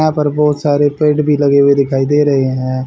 यहां पर बहुत सारे पेड़ भी लगे हुए दिखाई दे रहे हैं।